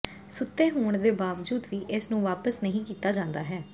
ਸੁੱਤੇ ਹੋਣ ਦੇ ਬਾਵਜੂਦ ਵੀ ਇਸ ਨੂੰ ਵਾਪਸ ਨਹੀਂ ਕੀਤਾ ਜਾਂਦਾ ਹੈ